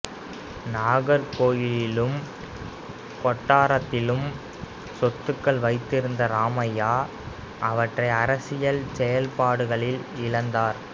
நாகர்கோயிலிலும் கொட்டாரத்திலும் சொத்துக்கள் வைத்திருந்த ராமையா அவற்றை அரசியல் செயல்பாடுகளில் இழந்தார்